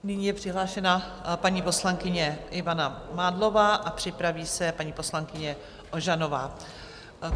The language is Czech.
Nyní je přihlášena paní poslankyně Ivana Mádlová a připraví se paní poslankyně Ožanová.